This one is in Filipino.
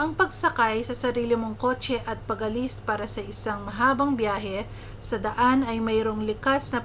ang pagsakay sa sarili mong kotse at pag-alis para sa isang mahabang biyahe sa daan ay mayroong likas na